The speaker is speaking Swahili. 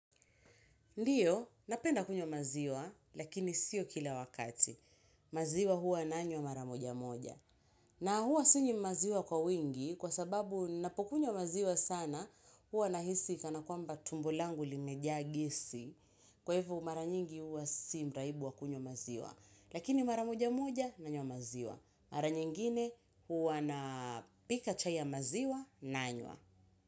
Ndiyo, napenda kunywa maziwa, lakini sio kila wakati. Maziwa huwa nanywa mara moja moja. Na huwa sinywi maziwa kwa wingi, kwa sababu napokunywa maziwa sana, huwa nahisi kana kwamba tumbo langu limeja gesi. Kwa hivyo mara nyingi huwa si mraibu wa kunywa maziwa. Lakini mara moja moja, nanyo maziwa. Mara nyingine huwa na pika chai maziwa, nanywa.